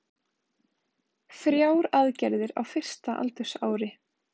Þrjár aðgerðir á fyrsta aldursári